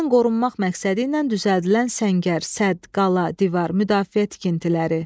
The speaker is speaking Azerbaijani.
Düşməndən qorunmaq məqsədi ilə düzəldilən səngər, sədd, qala, divar, müdafiə tikintiləri.